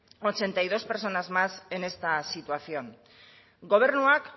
ochenta y dos personas más en esta situación gobernuak